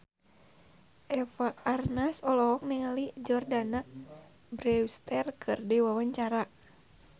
Eva Arnaz olohok ningali Jordana Brewster keur diwawancara